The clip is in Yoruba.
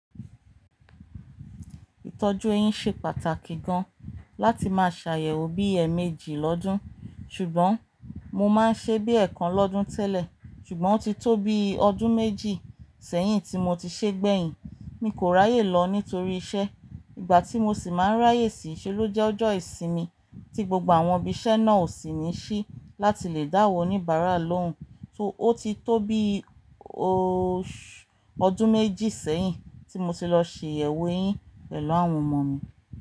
Ìtọ́jú eyín ṣe pàtàkì gan láti máa ṣàyẹ̀wò bí ẹẹ̀ẹ̀méjì lọ́dún, ṣùgbọ́n mo máa ń ṣe bí ẹẹkan lọ́dún tẹ́lẹ̀ ṣùgbọ́n ó ti tó bí ọdún méjì sẹ́yìn tí mo ti ṣe gbẹ̀yìn. Mi kò ráyè lọ nítorí iṣẹ́. Ìgbà tí mo sì máa ń ráyè sì í ṣe ló jẹ́ ọjọ́ ìsinmi tí gbogbo àwọn ibi iṣẹ́ náà ò sì ní ṣí láti lè dáwọ́ oníbara loun. Ó ti tó bí ọdún méjì sẹ́yìn tí mo ti lọ ṣe ìyẹ̀wò eyín pẹ̀lú àwọn ọmọ mi.